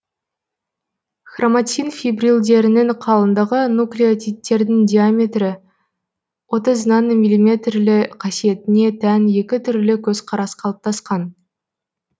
хроматин фибрилдерінің қалыңдығы нуклеотидтердің диаметрі отыз нанометрлі қасиетіне тән екі түрлі көзкарас калыптасқан